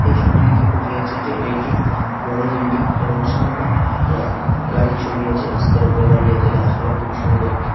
এই ছবিটি দেখে বোঝা যাচ্ছে যে এটি একটি বড় বিল্ডিং এবং সামনে রা-গ- গাড়ির ছবি আছে রাস্তার উপরে গাড়ি আছে গাছপালা খুবই সুন্দর ।